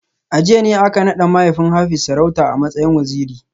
A jiya ne aka nada mahaifin Hafiz sarauta a matsayin Waziri